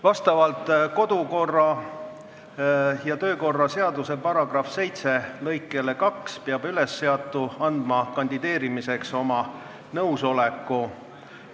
Vastavalt kodu- ja töökorra seaduse § 7 lõikele 2 peab ülesseatu andma kandideerimiseks oma nõusoleku.